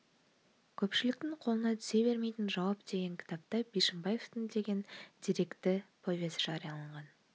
көпшілікті қолына түсе бермейтін жауап деген кітапта бишімбаевтың деген деректі повесі жарияланған